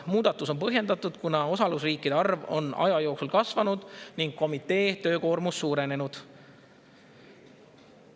Muudatus on põhjendatud, kuna osalisriikide arv on aja jooksul kasvanud ning komitee töökoormus suurenenud.